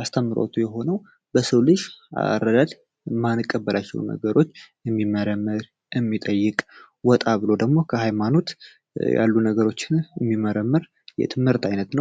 አስተምረቱ የሆነው በሰው ልጅ አረዳድ ማንቀበሪቸው ነገሮች የሚጠይቅ ወጣ ብሎ ደግሞ ከሃይማኖት ያሉ ነገሮችን የሚመረመር የትምህርት ዓይነት ነው፡፡